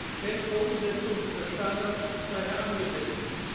Die spätere Umsetzung dieser Standards ist daher angemessen.